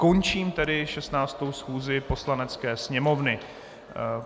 Končím tedy 16. schůzi Poslanecké sněmovny.